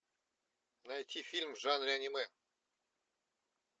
найти фильм в жанре аниме